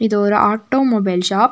இது ஒரு automobile shop .